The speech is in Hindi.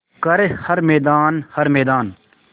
कर हर मैदान हर मैदान